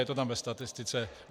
Je to tam ve statistice.